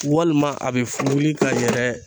Walima a bɛ fu wili ka yɛlɛ.